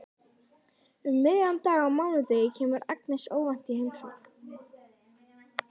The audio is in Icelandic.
Um miðjan dag á mánudegi kemur Agnes óvænt í heimsókn.